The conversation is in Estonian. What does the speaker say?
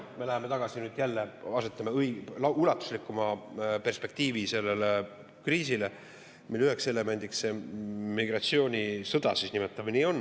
Me läheme jälle tagasi, seame ulatuslikuma perspektiivi sellele kriisile, mille üheks elemendiks on migratsioonisõda, nimetame seda siis nii.